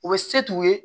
U bɛ se t'u ye